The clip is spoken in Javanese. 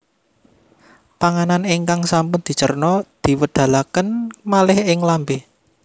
Panganan ingkang sampun dicerna diwedalaken malih ing lambé